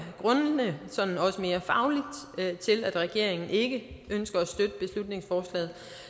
grundene også mere fagligt til at regeringen ikke ønsker at støtte beslutningsforslaget